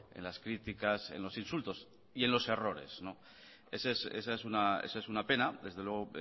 en las críticas en los insultos y en los errores esa es una pena desde luego